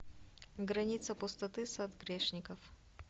граница пустоты сад грешников